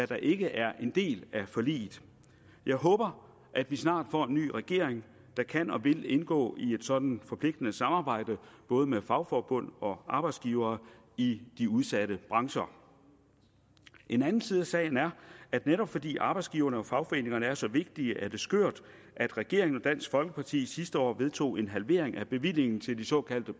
der ikke er en del af forliget jeg håber at vi snart får en ny regering der kan og vil indgå i et sådant forpligtende samarbejde både med fagforbund og arbejdsgiver i de udsatte brancher en anden side af sagen er at netop fordi arbejdsgiverne og fagforeningerne er så vigtige er det skørt at regeringen og dansk folkeparti sidste år vedtog en halvering af bevillingen til de såkaldte